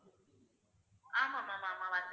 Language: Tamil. ஆமா ma'am ஆமா வந்திருக்கு